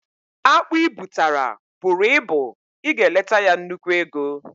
Akpụ i butara bụrụ ịbụ, ị ga eleta ya nnukwu ego